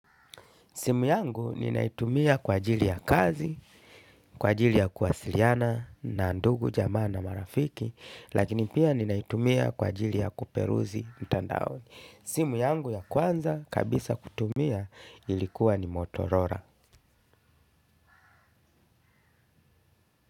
Simu yangu ninaitumia kwa ajili ya kazi kwa ajili ya kuwasiliana na ndugu jamaa na marafiki lakini pia ninaitumia kwa ajili ya kuperuzi mtandaoni. Simu yangu ya kwanza kabisa kutumia ilikuwa ni motorola.